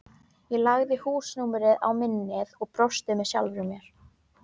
Ég lagði húsnúmerið á minnið og brosti með sjálfri mér.